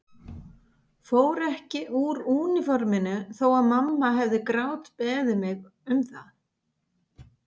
Fór ekki úr úniforminu þó að mamma hefði grátbeðið mig um það.